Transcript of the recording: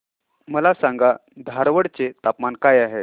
मला सांगा धारवाड चे तापमान काय आहे